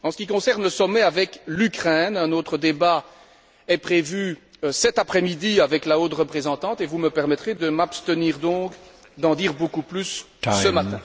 En ce qui concerne le sommet avec l'Ukraine, un autre débat est prévu cet après midi avec la haute représentante, et vous me permettrez de m'abstenir donc d'en dire beaucoup plus ce matin.